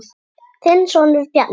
Þinn sonur, Bjarni.